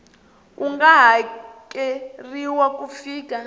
ku nga hakeriwa ku fika